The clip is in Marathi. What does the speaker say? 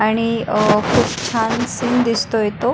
आणि अह खूप छान सीन दिसतोय तो.